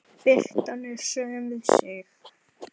Birtan er söm við sig.